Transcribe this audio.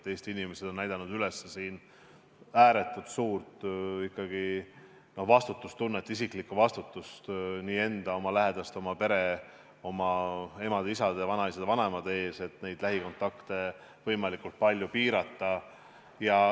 Eesti inimesed on näidanud üles ääretult suurt vastutustunnet, isiklikku vastutust enda, oma lähedaste, oma pere, oma emade ja isade ning vanaisade ja vanaemade ees, lähikontakte võimalikult palju piirates.